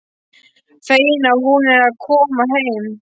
Fegin að hún er að koma heim.